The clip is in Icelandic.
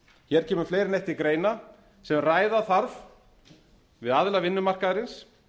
hér kemur fleira en eitt til greina sem ræða þarf við aðila vinnumarkaðarins